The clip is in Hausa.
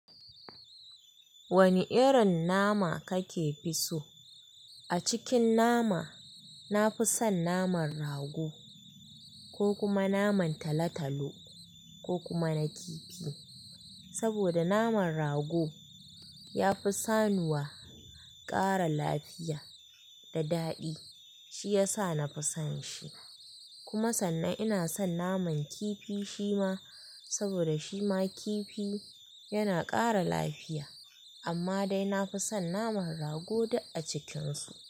Wani irin nama kake fi so? A cikin nama, na fi son naman rago ko kuma naman talo-talo, ko kuma na kifi. Saboda naman rago ya fi sanuwa, ƙara lafiya da daɗi, shi ya sa na fi son shi. Kuma sannan ina son naman kifi shima, saboda shima kifi yana ƙara lafiya. Amma dai na fi son naman rago da a cikinsu.